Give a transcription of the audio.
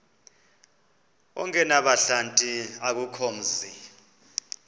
ongenabuhlanti akukho mzi